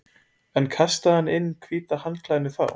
En kastaði hann inn hvíta handklæðinu þá?